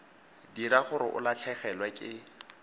dira gore o latlhegelwe ke